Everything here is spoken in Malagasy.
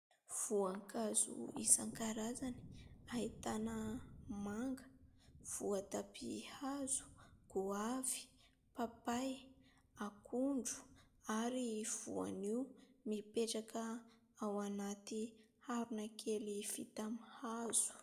Voankazo isankarazany ahitana manga, voatabia hazo, goavy, papay, akondro ary voanio mipetraka ao anaty harona kely vita amin' ny hazo.